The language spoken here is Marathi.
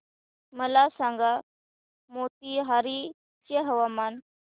मला सांगा मोतीहारी चे हवामान